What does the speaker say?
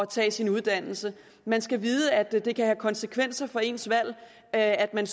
tage sin uddannelse man skal vide at det kan have konsekvenser for ens valg at at man